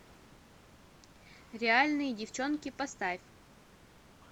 реальные девчонки поставь